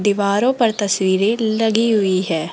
दीवारों पर तस्वीरें लगी हुई है।